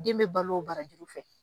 Den bɛ balo o barajuru fɛ.